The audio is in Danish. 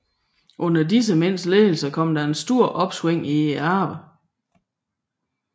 Under disse mænds ledelse kom der et stort opsving i arbejdet